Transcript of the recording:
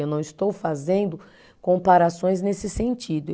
Eu não estou fazendo comparações nesse sentido.